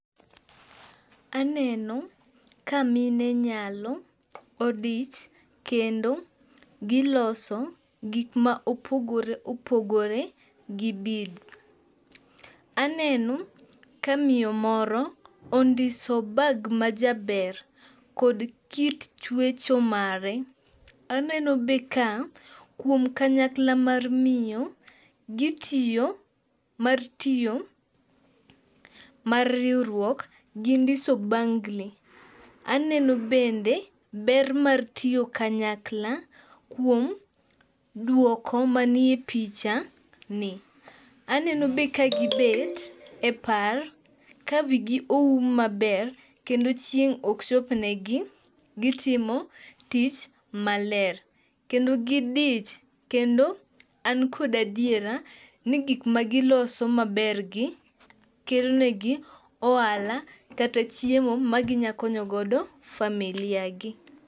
Aneno ka mine nyalo, odich kendo giloso gik ma opogore opogore gi beads. Aneno ka miyo moro ondiso bag majaber, kod kit chwecho mare, aneno be ka kuom kanyakla mar miyo, gitiyo mar tiyo mar riwruok, gindiso bangli. Aneno bende ber mar tiyo kanyakla kuom dwoko manie picha ni. Aneno be kagibet e par kawigi oum maber kendo chieng' ok chopnegi .gitimo tij maler kendo gidich, kendo an kod adiera ni gik magiloso maber gi kelo negi ohala kata chiemo maginya konyo godo familia gi.